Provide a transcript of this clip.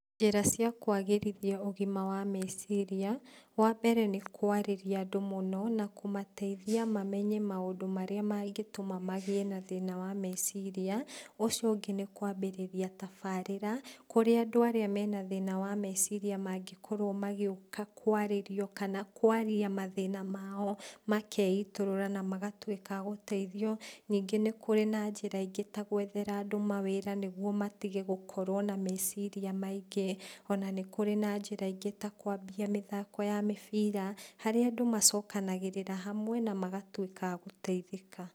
Njĩra ciakwagĩrithia ũgima wa meciria, wambere nĩ kwarĩria andũ mũno, na kũmateithia mamenye maũndũ marĩa mangĩtũma magĩe na thĩna wa meciria, ũcio ũngĩ nĩkwambĩrĩria tabarĩra, kũrĩa andũ arĩa mena thĩna wa meciria mangĩkorwo magĩũka kwarĩrio kana kwaria mathĩna mao makeitũrũra namagatuĩka a gũteithio ningĩ nĩkũrĩ na njĩra ingĩ ta gwethera andũ mawĩra nĩguo matige gũkorwo na meciria maingĩ. Ona nĩkũrĩ na njĩra ingĩ ta kwambia mĩthako ya mĩbira, harĩa andũ macokanagĩrĩra hamwe namagatuĩka a gũteithĩka.